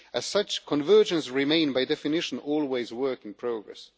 As such, convergence remains, by definition, always a work in progress.